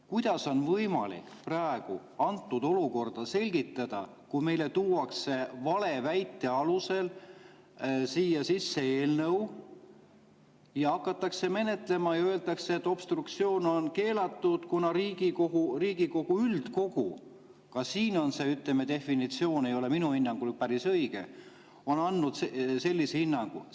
Kuidas on võimalik praegu antud olukorda selgitada, kui meile tuuakse valeväite alusel siia eelnõu ja hakatakse menetlema ja öeldakse, et obstruktsioon on keelatud, kuna Riigikohtu üldkogu – ka see definitsioon ei ole siin minu hinnangul päris õige – on andnud sellise hinnangu.